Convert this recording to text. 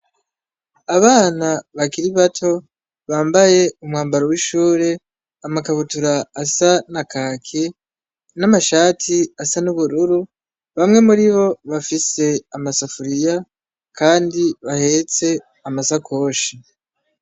Abana bakiri bato bambaye umwambaro wishure amakabutura asa na Kaki namashati asa nubururu bamwe muribo bafise amasafuriya kandi bahetse amasakoshi .